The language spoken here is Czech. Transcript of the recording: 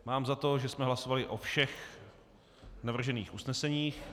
Mám za to, že jsme hlasovali o všech navržených usneseních.